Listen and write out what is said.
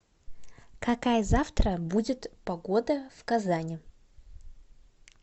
какая завтра будет погода в казани